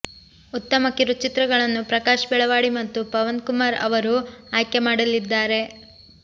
ಉತ್ತಮ ಕಿರುಚಿತ್ರಗಳನ್ನು ಪ್ರಕಾಶ್ ಬೆಳವಾಡಿ ಮತ್ತು ಪವನ್ ಕುಮಾರ್ ಅವರು ಆಯ್ಕೆಮಾಡಲಿದ್ದಾರೆ